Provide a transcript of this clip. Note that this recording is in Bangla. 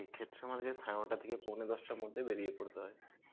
সেইক্ষেত্রে আমার সাড়ে নটা থেকে পৌনে দশটার মধ্যে বেরিয়ে পড়তে হয়.